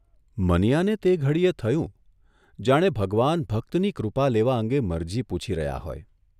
મનીયાને તે ઘડીએ થયું જાણે ભગવાન ભક્તની કૃપા લેવા અંગે મરજી પૂછી રહ્યા હોય !